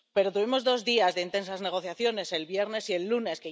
Tuvimos dos días de intensas negociaciones, el viernes y el lunes.